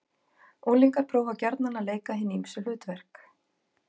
Unglingar prófa gjarnan að leika hin ýmsu hlutverk.